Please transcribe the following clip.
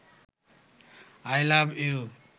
I love you